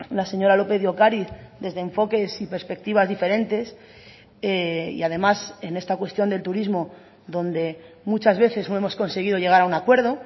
la señora lópez de ocariz desde enfoques y perspectivas diferentes y además en esta cuestión del turismo donde muchas veces no hemos conseguido llegar a un acuerdo